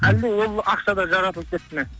әлде ол ақша да жаратылып кетті ме